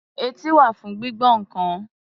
Etí wà fún gbígbọ́ nǹkan.